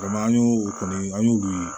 an y'o o kɔni an y'olu ye